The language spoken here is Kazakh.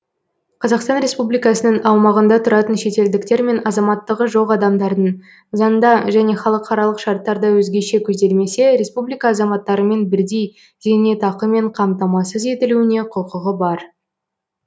қазақстан республикасының аумағында тұратын шетелдіктер мен азаматтығы жоқ адамдардың заңда және халықаралық шарттарда өзгеше көзделмесе республика азаматтарымен бірдей зейнетақымен қамтамасыз етілуіне құқығы бар